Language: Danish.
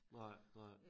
Nej nej